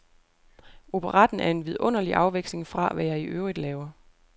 Operetten er en vidunderlig afveksling fra, hvad jeg i øvrigt laver.